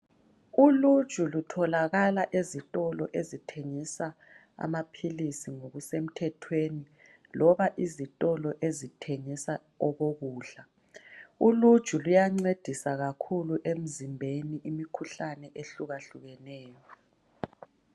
Uluju lutholakala ezitolo ezithengisa amaphilisi ngokusemthethweni, loba izitolo ezithengisa okokukudla. Uluju luyancedisa kakhulu emzimbeni imikhuhlane ehlukahlukeneyo.